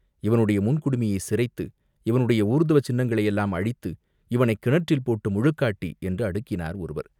இவனுடைய முன் குடுமியைச் சிரைத்து, இவனுடைய ஊர்த்வ சின்னங்களையெல்லாம் அழித்து, இவனைக் கிணற்றில் போட்டு முழுக்காட்டி, என்று அடுக்கினார் ஒருவர்.